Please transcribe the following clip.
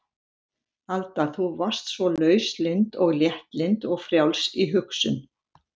Alda þú varst svo lauslynd og léttlynd og frjáls í hugsun.